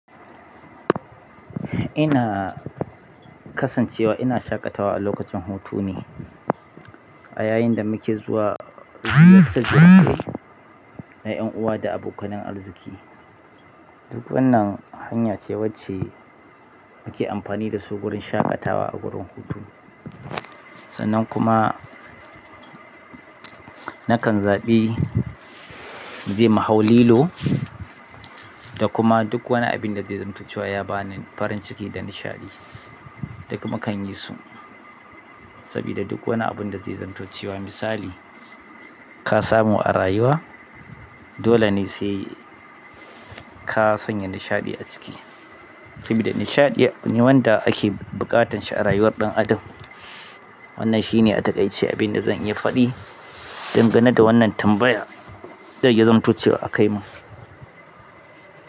Ina kasancewa ina shaƙatawa a lokacin hutu ne, a yayin da muke zuwa ziyarce ziyarce na ƴan uwa da abokan nan arziƙi. Duk wannan hanya ce wacce muke amfani da su gurin shaƙatawa a gurin hutu. Sannan kuma nakan zaɓi mu je mu hau lilo da kuma duk wani abin da zai zamto cewa ya bani farin ciki da nishaɗi, duk mukan yi su. Sabida duk wani abun da zai zamto cewa misali ka samu a rayuwa, dole ne sai ka sanya nishaɗi a ciki. Sabida nishaɗi ne wanda ake buƙatan shi a rayuwar ɗan adam. Wannan shi ne a takaice abin da zan yi faɗi dangane da wannan tambaya. Da ya zamto cewa akai mun.